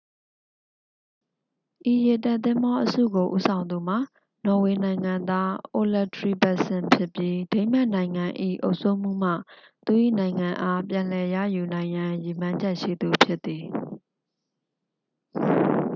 ဤရေတပ်သင်္ဘောအစုကိုဦးဆောင်သူမှာ နော်ဝေနိုင်ငံသား အိုလက် ထရီဗက်ဆင် ဖြစ်ပြီး ဒိန်းမတ်နိုင်ငံ၏ အုပ်စိုးမှုမှ သူ၏နိုင်ငံအား ပြန်လည်ရယူနိုင်ရန် ရည်မှန်းချက်ရှိသူဖြစ်သည်